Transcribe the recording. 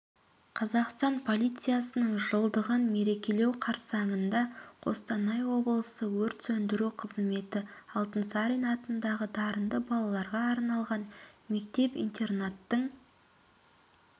қазақстан полициясының жылдығын мерекелеу қарсаңында қостанай облысы өрт сөндіру қызметі алтынсарин атындағы дарынды балаларға арналған мектеп-интернаттың